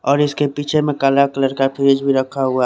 और उसके पीछे में काला कलर का फ्रिज भी रखा--